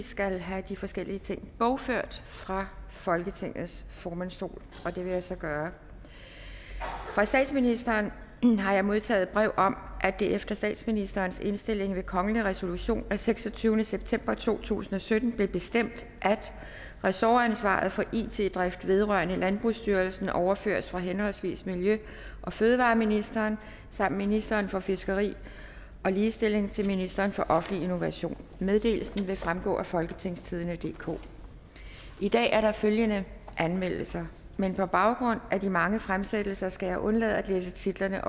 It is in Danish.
skal have de forskellige ting bogført fra folketingets formandsstol og det vil jeg så gøre fra statsministeren har jeg modtaget brev om at det efter statsministerens indstilling ved kongelig resolution af seksogtyvende september to tusind og sytten blev bestemt at ressortansvaret for it drift vedrørende landbrugsstyrelsen overføres fra henholdsvis miljø og fødevareministeren samt ministeren for fiskeri og ligestilling til ministeren for offentlig innovation meddelelsen vil fremgå af folketingstidende DK i dag er der følgende anmeldelser men på baggrund af de mange fremsættelser skal jeg undlade at læse titlerne